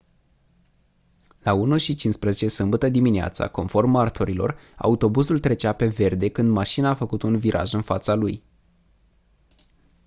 la 01:15 sâmbătă dimineață conform martorilor autobuzul trecea pe verde când mașina a făcut un viraj în fața lui